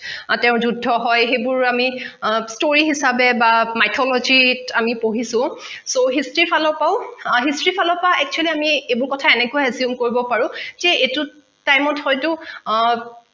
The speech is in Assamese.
তেওঁৰ যোদ্ধ হয় সেইবোৰ আমি story হিচাবে বা mythology ত আমি পঢ়িছো so history ফালৰ পা ও history ফালৰ পা actually আমি এইবোৰ কথা এনেকৈ exhume কৰিব পাৰো সেই এইটোত টাইমত হৈতো